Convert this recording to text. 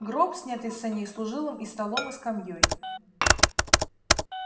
гроб снятый с саней служил им и столом и скамьёй